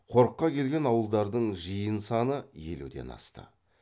қорыққа келген ауылдардың жиын саны елуден асты